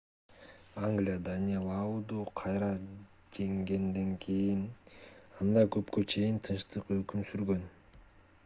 англия данелауду кайра жеңгенден кийин анда көпкө чейин тынчтык өкүм сүргөн